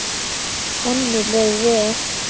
Henni leið vel.